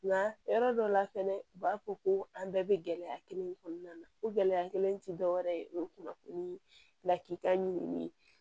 Nka yɔrɔ dɔ la fɛnɛ u b'a fɔ ko an bɛɛ bɛ gɛlɛya kelen in kɔnɔna na o gɛlɛya kelen tɛ dɔwɛrɛ ye o ye kunnafoni lakita ɲini ye